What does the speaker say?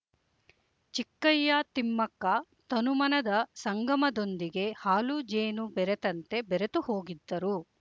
ಚಿಕ್ಕಯ್ಯತಿಮ್ಮಕ್ಕ ತನುಮನದ ಸಂಗಮದೊಂದಿಗೆ ಹಾಲುಜೇನು ಬೆರೆತಂತೆ ಬೆರೆತು ಹೋಗಿದ್ದರು